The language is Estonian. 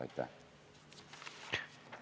Aitäh!